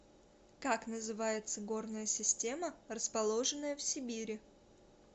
как называется горная система расположенная в сибири